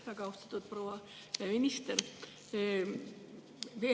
Väga austatud proua minister!